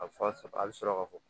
A bɛ fa sɔrɔ a bɛ sɔrɔ ka fɔ